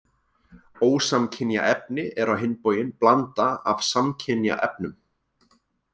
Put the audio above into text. Ósamkynja efni er á hinn bóginn blanda af samkynja efnum.